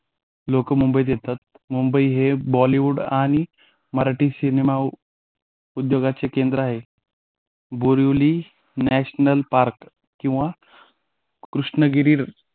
लोक मुंबईत येतात मुंबई हे बॉलीवूड आणि मराठी सिनेमा उद्योगाचे केंद्र आहे बोरिवली नॅशनल पार्क किंवा कृष्णगिरी